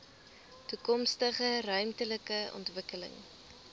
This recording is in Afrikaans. toekomstige ruimtelike ontwikkeling